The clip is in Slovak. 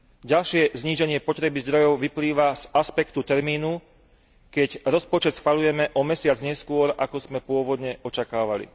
Ďalšie zníženie potreby zdrojov vyplýva z aspektu termínu, keď rozpočet schvaľujeme o mesiac neskôr, ako sme pôvodne očakávali.